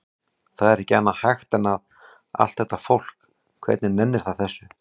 Það er ekki annað hægt en að. allt þetta fólk, hvernig nennir það þessu?